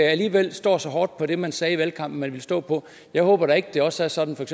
alligevel ikke står så hårdt på det man sagde i valgkampen man ville stå på jeg håber da ikke det også er sådan